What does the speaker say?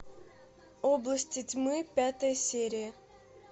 области тьмы пятая серия